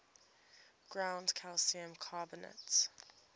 ground calcium carbonate